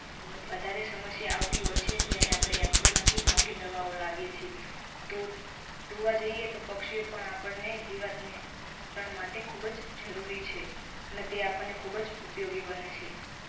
વધારે સમસ્યા આવતી હોય છે ત્યારે આપડે Agro માંથી મોંઘી દવાઓ લાવીએ છે. તો જોવા જઈએ તો પક્ષીઓ પણ આપણને જીવાત નિયંત્રણ માટે ખૂબ જ જરૂરી છે. અને તે આપણને ખૂબજ ઉપયોગી બને છે.